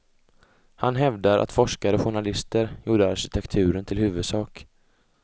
Han hävdar att forskare och journalister gjorde arkitekturen till huvudsak.